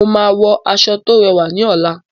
Mo máa wọ aṣọ tó rẹwà ní ọ̀la.